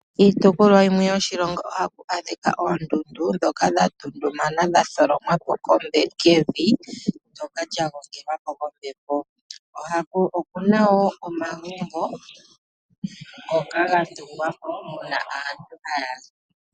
Iitopolwa yimwe yoshilongo ohaku adhika oondundu dhoka dha ndundumana dha tholomwa po kevi ndyoka lya gongelwa po kombepo, oku na wo omagumbo ngoka ga tungwa po moka aantu haya zi.